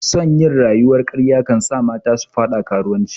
Son yin rayuwar karya kansa mata su fada karuwanci